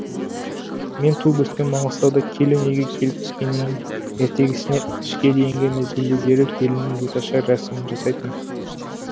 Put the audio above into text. мен туып өскен маңғыстауда келін үйге келіп түскеннен ертеңісіне түске дейінгі мезгілде дереу келіннің беташар рәсімін жасайтын